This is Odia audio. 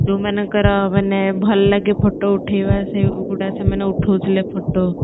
ଯୋଉମାନଙ୍କର ମାନେ ଭଲଲାଗେ photo ଉଠେଇବା ସେଇଗୁଡା ସେମାନେ ଉଠଉଥିଲେ photo